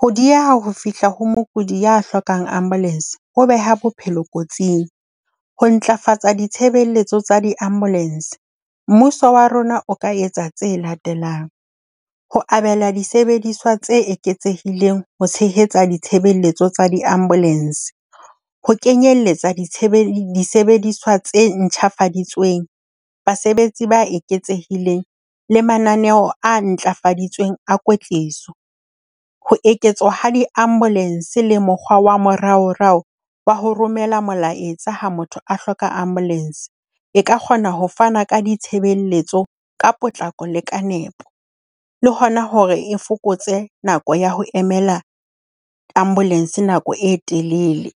ho dieha ho fihla ho mokudi ya hlokang ambulance ho beha bophelo kotsing. Ho ntlafatsa ditshebeletso tsa di-ambulance mmuso wa rona o ka etsa tse latelang. Ho abela disebediswa tse eketsehileng ho tshehetsa ditshebeletso tsa di-ambulance. Ho kenyeletsa disebediswa tse ntjhafaditsweng. Basebetsi ba eketsehileng le mananeo a ntlafaditsweng a kwetliso. Ho eketswa ha di-ambulance le mokgwa wa moraorao wa ho romela molaetsa ha motho a hloka ambulance. E ka kgona ho fana ka ditshebeletso ka potlako le ka nepo, le hona hore e fokotse nako ya ho emela ambulance nako e telele.